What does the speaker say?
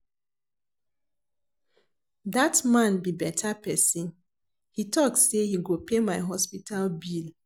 Dat man be better person, he talk say he go pay my hospital bill